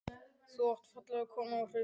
Þú átt fallega konu og hraust börn.